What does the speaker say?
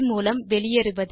மூலம் வெளியேறுவது